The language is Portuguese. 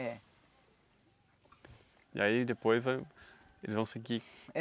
É. E aí depois eles vão seguir?